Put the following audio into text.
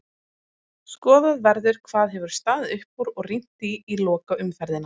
Skoðað verður hvað hefur staðið upp úr og rýnt í lokaumferðina.